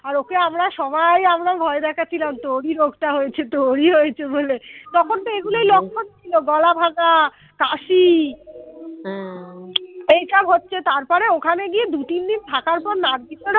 আর okay আমরা সবাই আমরা ভয় দেখাচ্ছিলাম তোরই রোগটা হয়েছে তোরই হয়েছে বলে তখন তো এগুলোই লক্ষণ ছিল গলা ভাঙ্গা কাশি হা এইসব হচ্ছে তারপরে ওখানে গিয়ে দু-তিন দিন থাকার পর নার্গিস